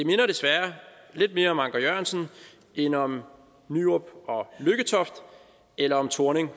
desværre lidt mere om anker jørgensen end om nyrup og lykketoft eller om thorning